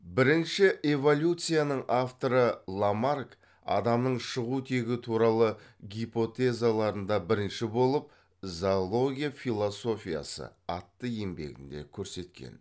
бірінші эволюцияның авторы ламарк адамның шығу тегі туралы гипотезаларында бірінші болып зоология философиясы атты еңбегінде көрсеткен